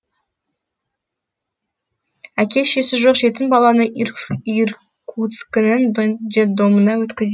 әке шешесі жоқ жетім баланы иркутскінің детдомына өткізеді